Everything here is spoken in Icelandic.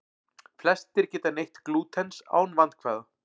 Flestir geta neytt glútens án vandkvæða.